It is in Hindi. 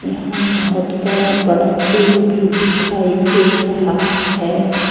यहां बहुत बड़ा बड़ा पेड़ भी दिखाई दे रहा है।